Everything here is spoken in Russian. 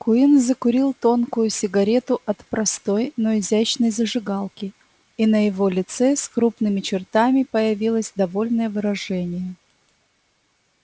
куинн закурил тонкую сигарету от простой но изящной зажигалки и на его лице с крупными чертами появилось довольное выражение